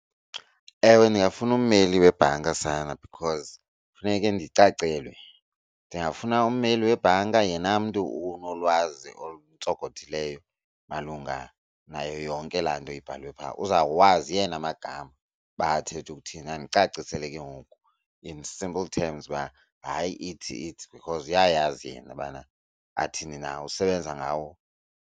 Ewe, ndingafuna ummeli webhanka sana because funeke ndicacelwe. Ndingafuna ummeli webhanka yena mntu onolwazi oluntsonkothileyo malunga nayo yonke laa nto ibhalwe phaa, uzawuwazi yena amagama uba athetha uthini andicacisele ke ngoku in simple terms uba hayi ithi ithi because uyayazi yena ubana athini na usebenza ngawo.